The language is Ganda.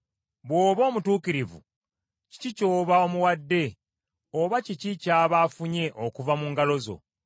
Bw’oba omutuukirivu, kiki ky’oba omuwadde, oba kiki ky’aba afunye okuva mu ngalo zo?